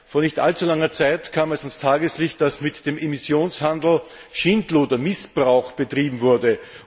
Vor nicht allzu langer Zeit kam ans Tageslicht, dass mit dem Emissionshandel Schindluder und Missbrauch betrieben wurde.